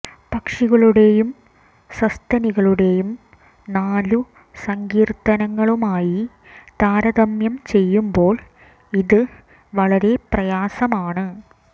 പക്ഷികളുടെയും സസ്തനികളുടെയും നാലു സങ്കീർത്തനങ്ങളുമായി താരതമ്യം ചെയ്യുമ്പോൾ ഇത് വളരെ പ്രയാസമാണ്